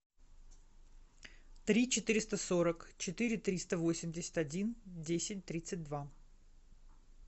три четыреста сорок четыре триста восемьдесят один десять тридцать два